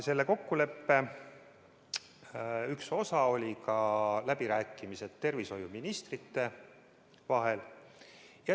Selle kokkuleppe üks osi olid ka läbirääkimised tervishoiuministrite vahel.